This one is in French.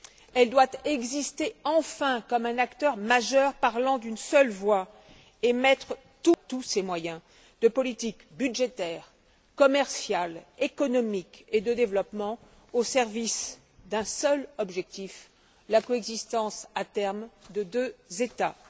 Elle doit exister enfin comme un acteur majeur parlant d'une seule voix et mettre tous ses moyens de politique budgétaire, commerciale, économique et de développement au service d'un seul objectif, la coexistence à terme de deux États.